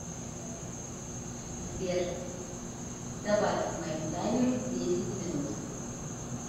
сбер добавь к моему таймеру десять минут